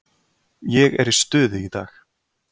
Ég er í stuði í dag.